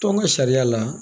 Tɔn ka sariya la